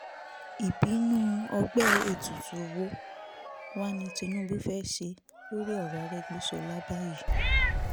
ìbínú ọgbẹ́ ètùtù wo wá ni tinúubú fẹ́ ṣe lórí ọ̀rọ̀ arẹ́gbẹ́sọlá báyìí